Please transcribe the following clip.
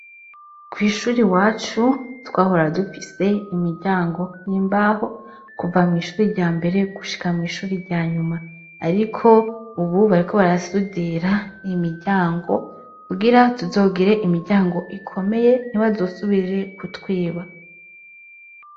Kw'ishure iwacu, twahora dufise imiryango y'imbaho, kuva mw'ishuri rya mbere gushika mw'ishuri rya nyuma; ariko ubu bariko barasudira imiryango kugira tuzogire imiryango ikomeye, ntibazosubire kutwiba.